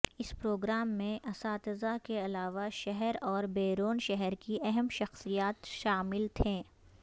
اس programme میں اساتذہ کے علاوہ شہر اور بیرون شہر کی اہم شخصیات شامل تھیں